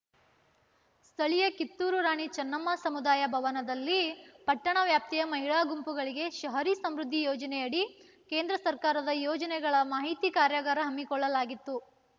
ಸ್ಥಳೀಯ ಕಿತ್ತೂರು ರಾಣಿ ಚನ್ನಮ್ಮ ಸಮುದಾಯ ಭವನದಲ್ಲಿ ಪಟ್ಟಣ ವ್ಯಾಪ್ತಿಯ ಮಹಿಳಾ ಗುಂಪುಗಳಿಗೆ ಶಹರಿ ಸಮೃದ್ದಿ ಯೋಜನೆಯಡಿ ಕೇಂದ್ರ ಸರ್ಕಾರದ ಯೋಜನೆಗಳ ಮಾಹಿತಿ ಕಾರ್ಯಾಗಾರ ಹಮ್ಮಿಕೊಳ್ಳಲಾಗಿತ್ತು